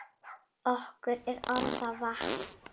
Okkur er orða vant.